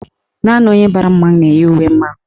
Naanị onye bara mmanwụ na-eyi uwe mmanwụ.